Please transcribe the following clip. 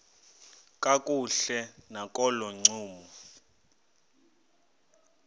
kakuhle nakolo ncumo